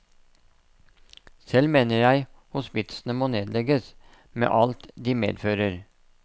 Selv mener jeg hospitsene må nedlegges, med alt de medfører.